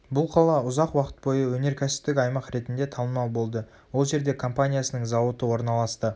бұл қала ұзақ уақыт бойы өнеркәсіптік аймақ ретінде танымал болды ол жерде компаниясының зауыты орналасты